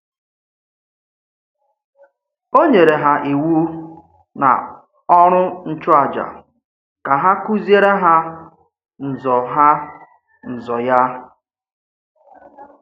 Ó nyerè hà Íwù na ọ̀rụ̀ nchụ̀àjà ka hà kụ́zièré hà ǹzọ̀ hà ǹzọ̀ ya.